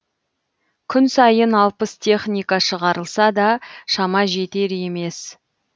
күн сайын алпыс техника шығарылса да шама жетер емес